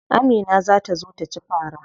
Amina za ta zo taci fara.